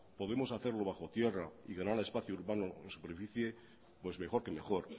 podemos hacerlo bajo tierra y ganar espacio urbano en superficie pues mejor que mejor